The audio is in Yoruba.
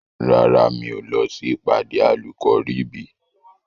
Rárá, mi ò kí ń lọ sí ìpàdé Àlùkọ̀ríbìì.